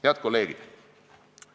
Head kolleegid!